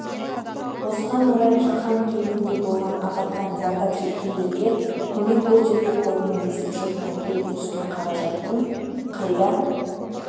осыған орай шахан кентінде болған апаттан зардап шеккендерге көмек көрсету қорының есепшотына келіп түскен қаражаттың қайда